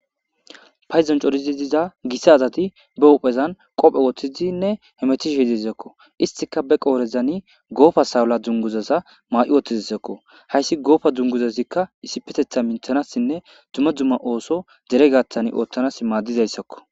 Payzon corizi diza gissa azati be huphezan qophe woththizinne hemetih hi dizekko istika be qoorezani goofa sawula dunguzaza maa'i woththidizekko hayssi goofa dzunguzazikka issipetetha minthanassinne dumma dzumma ooso deregattan oottanas maaddizayssakko.